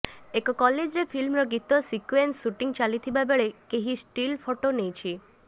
ଏକ କଲେଜ୍ରେ ଫିଲ୍ମର ଗୀତ ସିକ୍ୟୁଏନ୍ସ ସୁଟିଂ ଚାଲିଥିବା ବେଳେ କେହି ଷ୍ଟିଲ୍ ଫଟୋ ନେଇଛି